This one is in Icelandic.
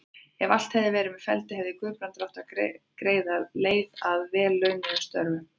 Ef allt hefði verið með felldu, hefði Guðbrandur átt greiða leið að vel launuðum störfum.